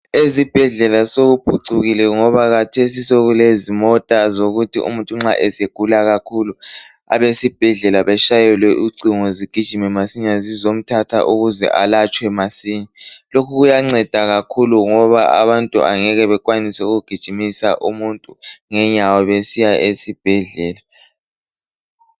Ezibhedlela sekuphucukile ngoba kathesi sekulezimota zokuthi umuntu nxa esegula kakhulu abesibhedlela batshayelwe ucingo zigijime masinya zizomthatha ukuze elatshwe masinya. Lokhu kuyanceda ngoba abantu angeke bekwanise ukugijimisa umuntu ngenyawo besiya esibhedlela.